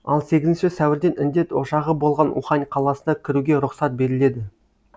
ал сегізінші сәуірден індет ошағы болған ухань қаласына кіруге рұқсат беріледі